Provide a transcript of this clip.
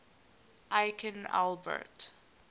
aikin albert